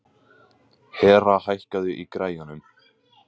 Hera, hækkaðu í græjunum.